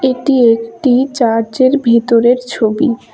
এটি একটি চার্চের ভিতরের ছবি।